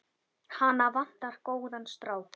Hana vantar góðan strák.